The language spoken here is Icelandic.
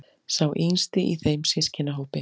Sá yngsti í þeim systkinahópi.